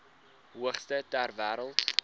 hoogste ter wêreld